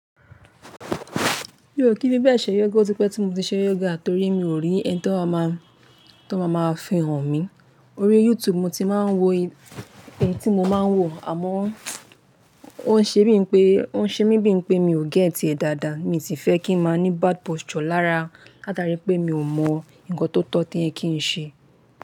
Mio kí n fi bẹ̀e se yógà, o tí pé tí mo ti ṣe yógà torí mi ò rí ẹni tí o maa má fi hàn mí. Orí YouTube mo ti máa ń wo eyi tí mo máa ń wò, àmọ́ ó ń ṣe mí bíi pé mi ò get e dáadáa. Mii sì fẹ́ kí n máa ní bad posture lára látara pé mi ò mọ nkan tó tọ́ tí o ye kí ń ṣe.